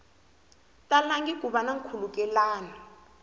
talangi ku va na nkhulukelano